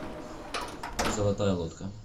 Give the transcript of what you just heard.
золотая лодка